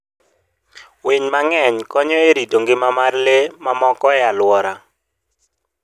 Winy mang'eny konyo e rito ngima mar lee mamoko e aluora.